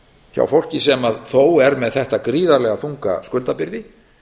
hjá fólki sem þó er með þetta gríðarlega þunga skuldabyrði